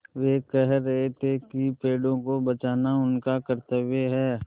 वे कह रहे थे कि पेड़ों को बचाना उनका कर्त्तव्य है